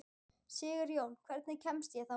Sigurjón, hvernig kemst ég þangað?